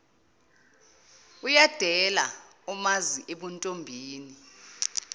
uyadela omazi ebuntombini